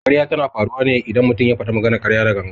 Ƙarya tana faruwa ne idan mutum ya faɗi maganar ƙarya da gangan.